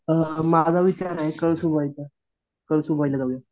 माझा विचार आहे कळसुबाई चा, कळसुबाई ला जाऊया